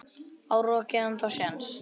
Á rokkið ennþá séns?